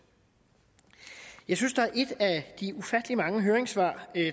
jeg synes der er et af de ufattelig mange høringssvar